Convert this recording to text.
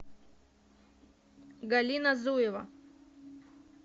галина зуева